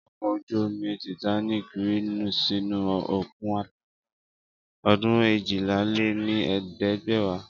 Ọkọ̀ ojú-omi Titanic rì sínú òkun Atlantic ní ọdún éjìlá-lé-ní-ẹ̀ẹ́dẹ́gbẹ̀wá